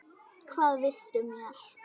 Hvað viltu mér?